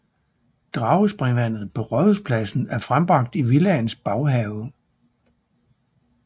Dragespringvandet på Rådhuspladsen er frembragt i Villaens baghave